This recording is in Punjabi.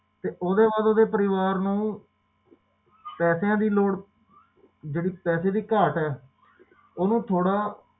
ਤੇ ਓਹਦੇ ਬਾਅਦ ਓਹਦੇ ਪਰਿਵਾਰ ਨੂੰ ਪੈਸਿਆਂ ਦੀ ਲੋੜ ਜਿਹੜੀ ਪੈਸੇ ਦੀ ਘਾਟ ਹੈ ਓਹਨੂੰ ਥੋੜਾ